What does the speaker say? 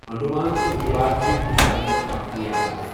انڈمان تہٕ نِکوبار چھ ہندوستانٕچ اَکھ ریاست